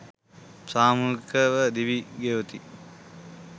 සාමූහිකව දිවි ගෙවති.